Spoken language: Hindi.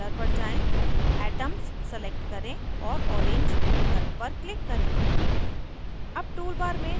नीचे color पर जाएँ atoms select करें और orange विकल्प पर click करें